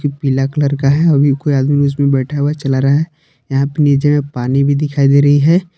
पीला कलर का है कोई आदमी उसमे बैठा हुआ चला रहा है यहां पर नीचे में पानी भी दिखाई दे रही है।